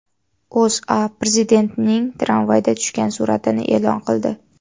O‘zA Prezidentning tramvayda tushgan suratini e’lon qildi .